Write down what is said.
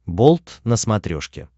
болт на смотрешке